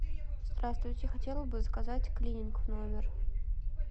здравствуйте хотела бы заказать клининг в номер